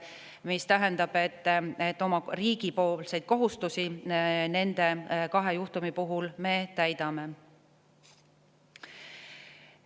See tähendab, et riigi kohustusi nende kahe juhtumi puhul me täidame.